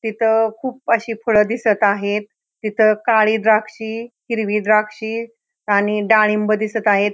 इथ खूप अशी फळे दिसत आहेत इथे काळी द्राक्षी हिरवी द्राक्षी आणि डाळिंब दिसत आहेत.